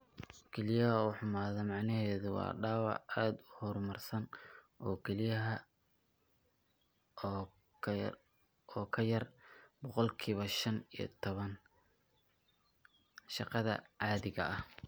Kelyaha oo xumaada macnaheedu waa dhaawac aad u horumarsan oo kelyaha ah oo ka yar boqolkiba shaan iyo tobaan shaqada caadiga ah.